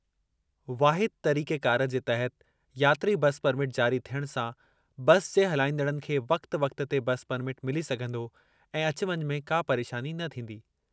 वाहिद तरीक़ेकार जे तहत यात्री बस परमिट जारी थियणु सां बस जे हलाईंदड़नि खे वक़्ति-वक़्ति ते बस परमिट मिली सघिंदो ऐं अचु वञु में का परेशानी न ईंदी।